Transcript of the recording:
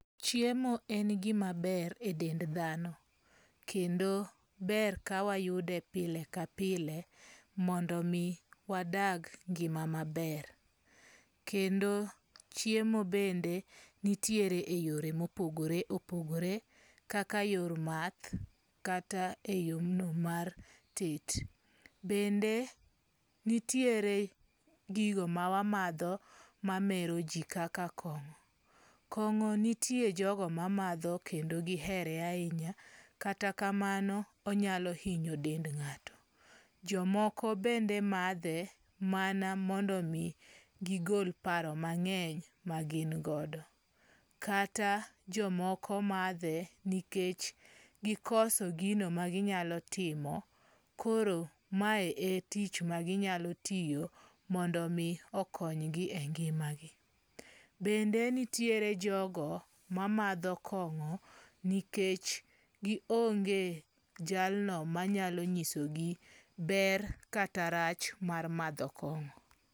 Chiemo en gima ber e dend dhano. Kendo ber ka wayude pile ka pile mondo mi wadag ngima maber. Kendo chiemo bende nitiere e yore mopogore opogore. Kaka yor math. Kata e yo no mar tet. Bende nitiere gigo ma wamadho ma mero ji kaka kong'o. Kong'o nitiere jogo mamadho kendo gihere ahinya. Kata kamano onyalo hinyo dend ng'ato. Jomoko bende madhe mana mondo mi gigol paro mang'eny ma gin godo. Kata jomoko madhe nikech gikoso gino ma ginyalo timo. Koro ma e tich ma ginyalo tiyo mondo mi okony gi e ngima gi. Bende nitiere jogo ma madho kongo nikech gi onge jalno manyalo nyisogi ber kata rach mar madho kong'o.